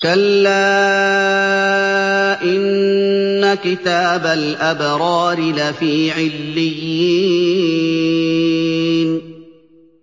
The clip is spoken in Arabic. كَلَّا إِنَّ كِتَابَ الْأَبْرَارِ لَفِي عِلِّيِّينَ